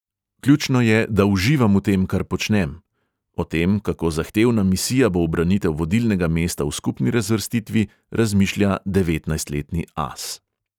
"Ključno je, da uživam v tem, kar počnem," o tem, kako zahtevna misija bo ubranitev vodilnega mesta v skupni razvrstitvi, razmišlja devetnajstletni as.